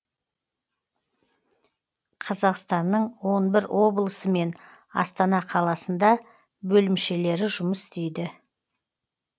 қазақстанның он бір облысы мен астана қаласында бөлімшелері жұмыс істейді